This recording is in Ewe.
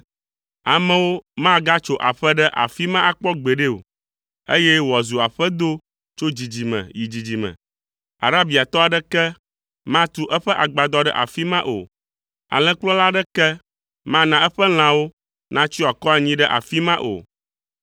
Amewo magatso aƒe ɖe afi ma akpɔ gbeɖe o, eye wòazu aƒedo tso dzidzime yi dzidzime. Arabiatɔ aɖeke matu eƒe agbadɔ ɖe afi ma o, alẽkplɔla aɖeke mana eƒe lãwo natsyɔ akɔ anyi ɖe afi ma o.